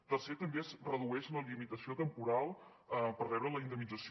tercer també es redueix la limitació temporal per rebre la indemnització